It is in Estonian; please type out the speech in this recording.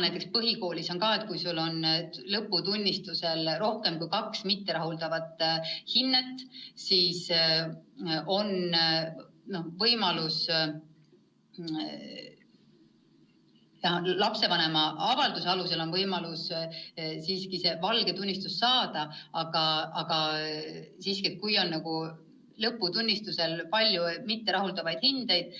Praegu on põhikoolis kord, et kui sul on lõputunnistusel rohkem kui kaks mitterahuldavat hinnet, siis on lapsevanema avalduse alusel võimalus siiski nn valge tunnistus saada, aga kui on lõputunnistusel palju mitterahuldavaid hindeid,